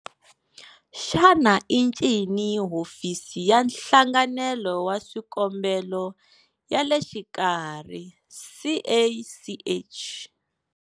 Xana i ncini Hofisi ya Nhlanganelo wa Swikombelo ya le Xikarhi, CACH?